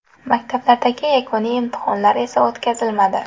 Maktablardagi yakuniy imtihonlar esa o‘tkazilmadi .